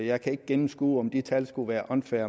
jeg kan ikke gennemskue om de tal skulle være unfair